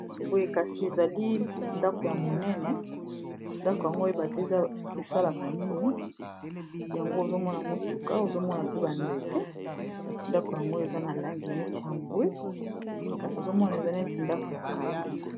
Boye kasi ezali ndako ya monene ndako yango ebate eza soki esalaka nini yango ozomona motuka ozomona pe banzete ndako yango eza na langi neti ya mbwe kasi ozomona eza neti ndako ya kala.